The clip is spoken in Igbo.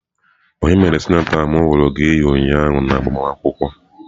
Onye mere sịnator ahu ka m huru gi ụnyaahụ n'agbamakwụkwọ?